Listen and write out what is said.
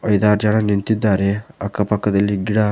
ಐದಾರು ಜನ ನಿಂತಿದ್ದಾರೆ ಅಕ್ಕ ಪಕ್ಕದಲ್ಲಿ ಗಿಡ--